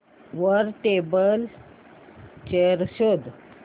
वर table chair शोध